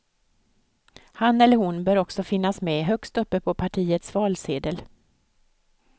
Han eller hon bör också finnas med högst upp på partiets valsedel.